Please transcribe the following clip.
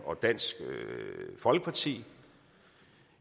og dansk folkeparti